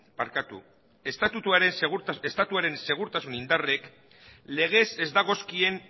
estatuaren segurtasun indarrek legez ez dagozkien